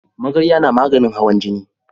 Magarya na maganin hawan jini